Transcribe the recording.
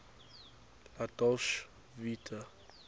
la dolce vita